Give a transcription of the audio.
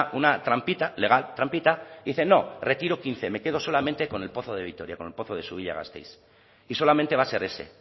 una trampita legal trampita y dice no retiro quince me quedo solamente con el pozo de vitoria con el pozo de gasteiz y solamente va a ser ese